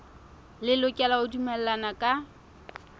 le lokela ho dumellana ka